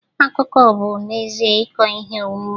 Akụkọ bụ n'ezie ịkọ ihe omume.